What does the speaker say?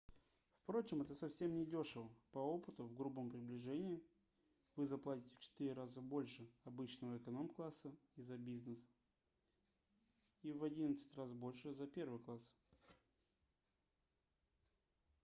впрочем это совсем недешево по опыту в грубом приближении вы заплатите в четыре раза больше обычного эконом-класса за бизнес и в одиннадцать раз больше за первый класс